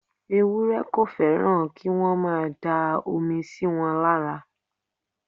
Ewúrẹ́ kò fẹ́ràn kí wọ́n máa da omi síwọn lára.